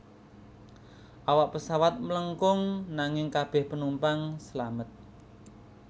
Awak pesawat mlengkung nanging kabeh penumpang selamat